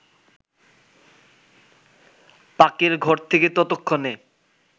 পাকের ঘর থেকে ততক্ষণে